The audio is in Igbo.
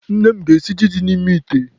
Nne ga-esi ji ahụ dị n'ime ite echi.